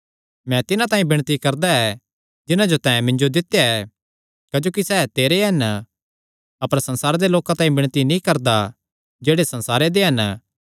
मैं तिन्हां तांई विणती करदा ऐ जिन्हां जो तैं मिन्जो दित्या ऐ क्जोकि सैह़ तेरे हन अपर संसारे दे लोकां तांई विणती नीं करदा जेह्ड़े संसारे दे हन